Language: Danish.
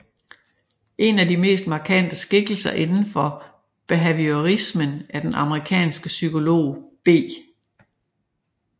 En af de mest markante skikkelser indenfor behaviorismen er den amerikanske psykolog B